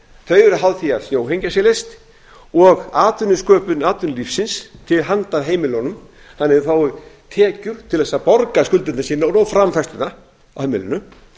þau eru háð því að snjóhengjan sé leyst og atvinnusköpun atvinnulífsins til handa heimilunum þannig að þau fái tekjur til að borga skuldir sínar og framfærslan á heimilinu